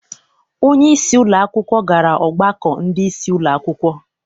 Onyeisi ụlọakwụkwọ gara ọgbakọ ndị isi ụlọakwụkwọ.